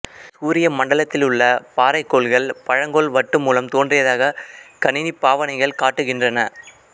சூரிய மண்டலத்திலுள்ள பாறைக் கோள்கள் பழங்கோள் வட்டு மூலம் தோன்றியதாக கணினி பாவனைகள் காட்டுகின்றன